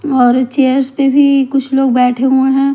और चेयर्स पे भी कुछ लोग बैठे हुए हैं।